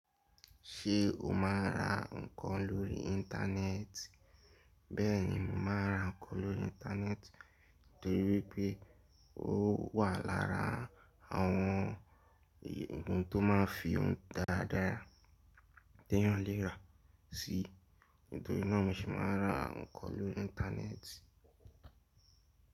Ṣé o máa ń ra nǹkan lórí Íńtánẹ́ẹ̀tì? Bẹ́ẹ̀ni, mo máa ń ra nǹkan lórí Íńtánẹ́ẹ̀tì torí pé ó wà lára àwọn igun tó máa ń fi ohun dáradára tẹ́yàn léra sí, nítorí náà mo se máa ra nǹkan lórí Íńtánẹ́ẹ̀tì.